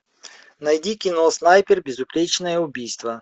найди кино снайпер безупречное убийство